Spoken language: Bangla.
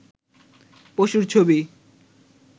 পশুর ছবি